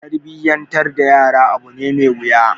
Tarbiyyantar da yara abu ne mai wuya.